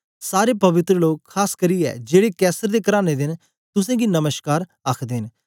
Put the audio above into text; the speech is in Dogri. सारे पवित्र लोग खास करियै जेड़े कैसर दे कराने दे न तुसेंगी नमश्कार आखदे न